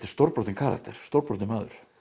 stórbrotinn karakter stórbrotinn maður